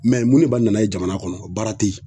mun ne b'a na ye jamana kɔnɔ baara tɛ yen